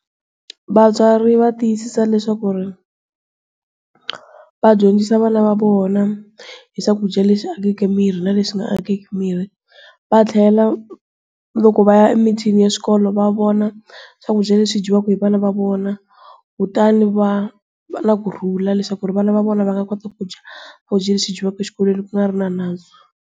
Vatswari va tiyisisa leswaku ri, va dyondzisa vana va vona, hi swakudya leswi akeke mirhi na leswi nga akeki mirhi. Va tlhela loko va ya emitini ya swikolo va vona, swakudya leswi dyiwaka hi vana va vona. Kutani va va na kurhula leswaku ri vana va vona va nga kota ku dya swakudya leswi dyiwaka exikolweni ku nga ri na nandzu.